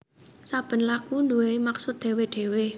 Saben lagu nduwèni maksud dhewe dhewe